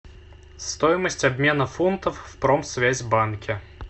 стоимость обмена фунтов в промсвязьбанке